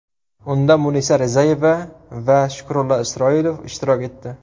Unda Munisa Rizayeva va Shukrullo Isroilov ishtirok etdi.